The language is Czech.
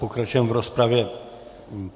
Pokračujeme v rozpravě.